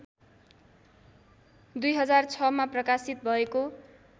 २००६मा प्रकाशित भएको